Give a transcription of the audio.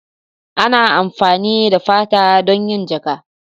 Ana amfani da fata don yin jaƙa.